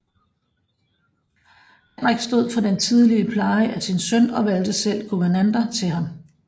Henrik stod for den tidlige pleje af sin søn og valgte selv guvernanter til ham